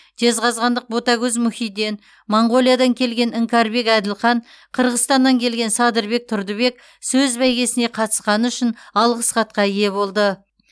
жезқазғандық ботагөз мұхиден моңғолиядан келген іңкәрбек әділхан қырғызстаннан келген садырбек тұрдыбек сөз бәйгесіне қатысқаны үшін алғыс хатқа ие болды